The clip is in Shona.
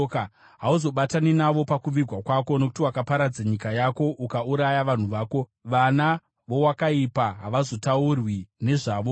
hauzobatani navo pakuvigwa kwako, nokuti wakaparadza nyika yako ukauraya vanhu vako. Vana vowakaipa havazotaurwi nezvavozve.